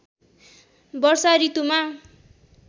वर्षा ॠतुमा